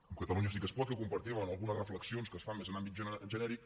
amb catalunya sí que es pot que compartim algunes reflexions que es fan més en àmbit genèric